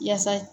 Yaasa